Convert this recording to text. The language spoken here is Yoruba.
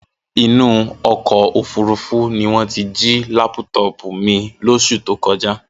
Inú ọkọ̀ òfuurufú ní wọ́n ti jí lápútọọ̀pù mi lóṣù tó kọjá.